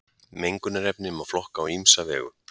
mengunarefni má flokka á ýmsa vegu